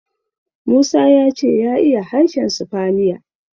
Musa ya ce ya iya harshen sifaniya.